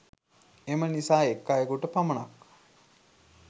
එම නිසා එක් අයකුට පමණක්